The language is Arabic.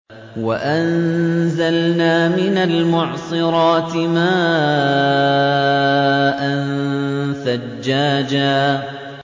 وَأَنزَلْنَا مِنَ الْمُعْصِرَاتِ مَاءً ثَجَّاجًا